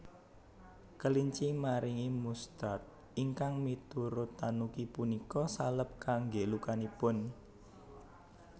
Kelinci maringi mustard ingkang miturut tanuki punika salep kangge lukanipun